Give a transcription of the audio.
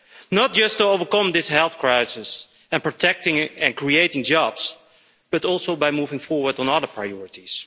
Not just to overcome this health crisis and protecting and creating jobs, but also by moving forward on other priorities.